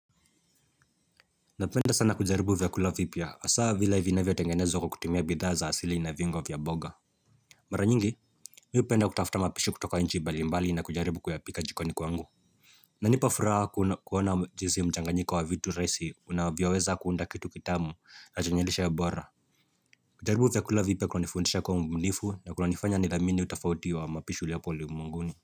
Napenda sana kujaribu vyakula vipya hasaa vile vinavyo tengenezwa kwa kutumia bidhaa za asili na viungo vya mboga Mara nyingi, mimi hupenda kutafuta mapishi kutoka nchi mbalimbali na kujaribu kuyapika jikoni kwangu iNanipa furaha kuona jinsi mchanganyiko wa vitu rahisi unavyaweza kuunda kitu kitamu na chwnye lishe bora kujaribu vyakula vipya kunanifundisha kwa mbunifu na kunanifanya nidhamini utafauti wa mapishi uliopo ulimwenguni.